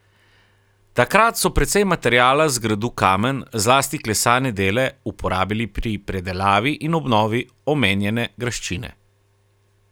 Takrat so precej materiala z gradu Kamen, zlasti klesane dele, uporabili pri predelavi in obnovi omenjene graščine.